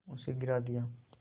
उसे गिरा दिया